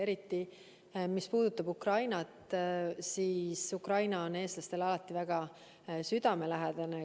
Eriti mis puudutab Ukrainat, sest Ukraina on eestlastele alati väga südamelähedane olnud.